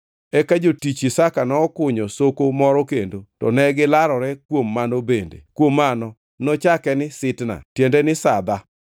Eka jotich Isaka nokunyo soko moro kendo, to ne gilarore kuom mano bende; kuom mano nochake ni Sitna (tiende ni sadha).